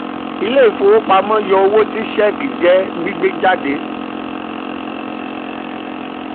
ilé ìfowopamọ́ yọ owó tí ṣẹ́ẹ̀kì jẹ um gbígbé jáde.